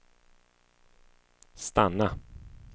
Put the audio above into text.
stanna